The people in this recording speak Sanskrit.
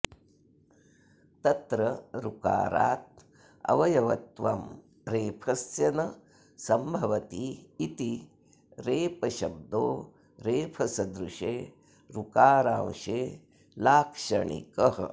तत्र ऋकारादवयवत्वं रेफस्य न संभवतीति रेपशब्दो रेफसदृशे ऋकारांशे लाक्षणिकः